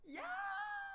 Ja